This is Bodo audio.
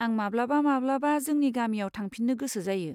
आं माब्लाबा माब्लाबा जोंनि गामियाव थांफिननो गोसो जायो।